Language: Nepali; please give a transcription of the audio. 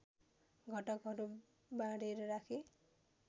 घटकहरू बाँडेर राखे